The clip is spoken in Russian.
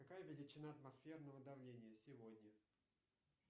какая величина атмосферного давления сегодня